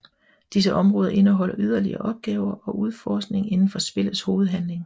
Disse områder indeholder yderligere opgaver og udforskning indenfor spillets hovedhandling